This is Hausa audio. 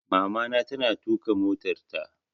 Mamana ta na tuƙa motarta